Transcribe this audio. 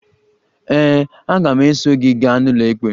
Ee, aga m eso gị gaa n'ụlọikpe.